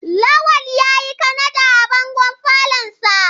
Lawal yayi Kanada a bangon falonsa.